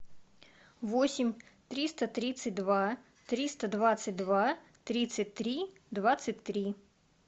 восемь триста тридцать два триста двадцать два тридцать три двадцать три